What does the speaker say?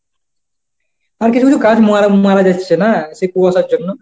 আর কিছু কিছু গাছ মারা মারা যাচ্ছে না সেই কুয়াশার জন্য?